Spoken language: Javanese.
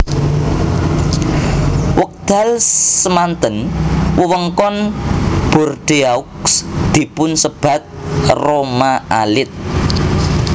Wekdal semanten wewengkon Bordeaux dipunsebat Roma alit